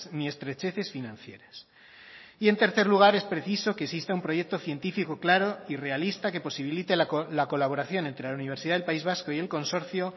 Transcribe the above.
ni estrecheces financieras y en tercer lugar es preciso que exista un proyecto científico claro y realista que posibilite la colaboración entre la universidad del país vasco y el consorcio